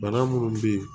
Bana munnu be ye